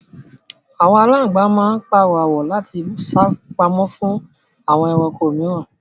Àwọn aláǹgbá máa ń párọ́ àwọ̀ láti sá pamọ́ fún àwọn ẹranko mìíràn